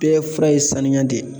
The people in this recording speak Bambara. Bɛɛ fura ye sanuya de ye